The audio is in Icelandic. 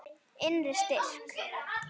Innri styrk.